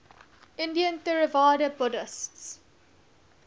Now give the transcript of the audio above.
indian theravada buddhists